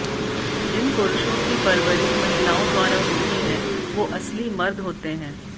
जिन पुरुषों की परवरिश महिलाओं द्वारा होती है वो असली मर्द होते हैं